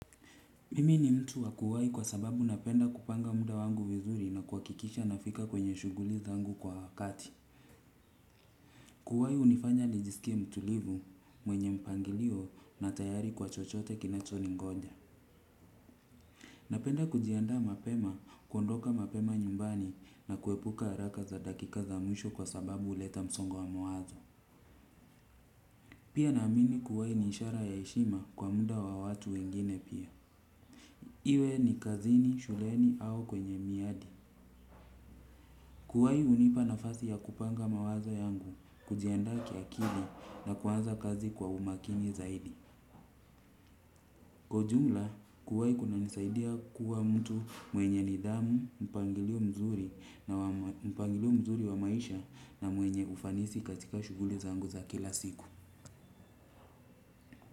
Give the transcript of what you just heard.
Mimi ni mtu wakuwai kwa sababu napenda kupanga muda wangu vizuri na kuwakikisha nafika kwenye shuguli zangu kwa wakati. Kuwai hunifanya nijiskie mtulivu mwenye mpangilio na tayari kwa chochote kinacho ni ngoja. Napenda kujianda mapema, kuondoka mapema nyumbani na kuepuka araka za dakika za mwisho kwa sababu uleta msongo wa mawazo. Pia naamini kuwai ni ishara ya heshima kwa muda wa watu wengine pia. Iwe ni kazini, shuleni au kwenye miadi. Kuwai hunipa nafasi ya kupanga mawazo yangu, kujianda kiakili na kuanza kazi kwa umakini zaidi. Kwa ujumla, kuwai kuna nisaidia kuwa mtu mwenye nidhamu, mpangilio mzuri wa maisha na mwenye ufanisi katika shuguli zangu za kila siku.